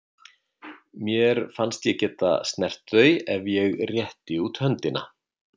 Mér fannst ég geta snert þau ef ég rétti út höndina.